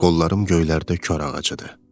qollarım göylərdə kor ağacıdır.